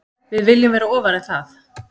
Við viljum vera ofar en það